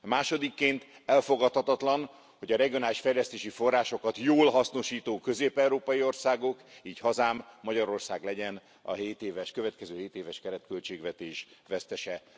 Másodikként elfogadhatatlan, hogy a regionális fejlesztési forrásokat jól hasznosító közép európai országok, így hazám, Magyarország legyen a következő hétéves keretköltségvetés vesztese.